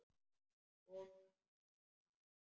Hún er unnusta mín!